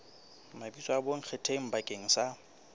mabitso a bonkgetheng bakeng sa